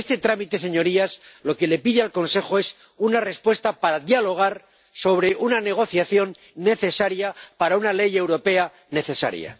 Con este trámite, señorías, lo que se le pide al Consejo es una respuesta para dialogar sobre una negociación necesaria para una ley europea necesaria.